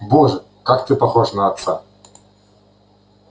боже как ты похож на отца